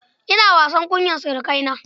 Ina wasa kunyar surukaina.